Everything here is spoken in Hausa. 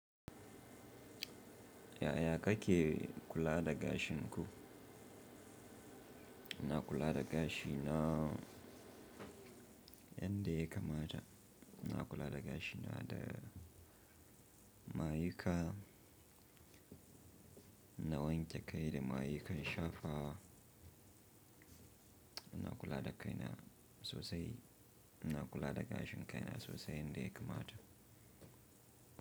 Ya ya ka ke kula da gashin ku? Na kula da gashi na yanda yakamata. Na kula da gashi na da mayuka, ina wanke kai da mayukan shafawa. Ina kula da kaina sosai. Ina kula da gashin kaina sosai yanda yakamata.